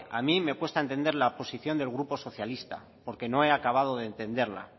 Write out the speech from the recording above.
a mí me cuesta entender la posición del grupo socialista porque no he acabado de entenderla